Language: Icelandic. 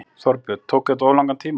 Þorbjörn: Tók þetta of langan tíma?